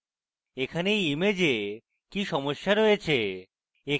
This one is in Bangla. এখানে এই image কি সমস্যা রয়েছে